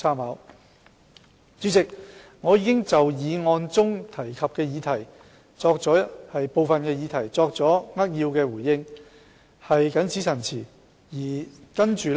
代理主席，我已就議案提及的部分議題作出扼要回應，謹此陳辭。